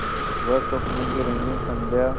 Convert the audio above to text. वह स्वप्नों की रंगीन संध्या